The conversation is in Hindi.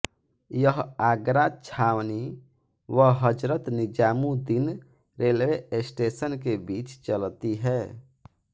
यह आगरा छावनी व हजरत निजामुद्दीन रेलवे स्टेशन के बीच चलती है